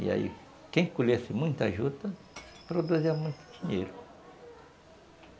E aí, quem colhesse muita juta, produzia muito dinheiro.